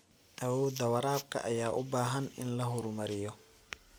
Awoodda waraabka ayaa u baahan in la horumariyo.